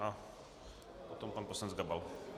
A potom pan poslanec Gabal.